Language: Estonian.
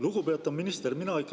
Lugupeetav minister!